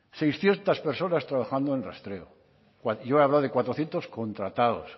seiscientos personas trabajando en rastreo y yo he hablado de cuatrocientos contratados